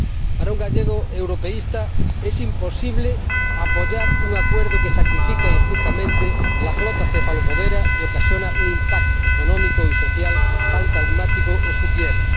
Para un gallego europeísta es imposible apoyar un acuerdo que sacrifica injustamente la flota cefalopodera y ocasiona un impacto económico y social tan traumático en su tierra.